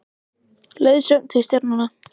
Leiðsögn til stjarnanna.